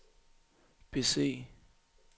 bese